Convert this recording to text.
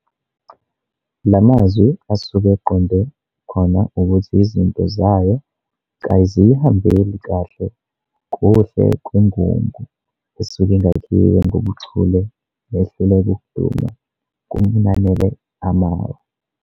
La mazwi asuke eqonde khona ukuthi izinto zayo kaziyihambeli kahle kuhle kwengungu esuke ingakhiwe ngobuchule nehluleka ukuduma kunanele amawa.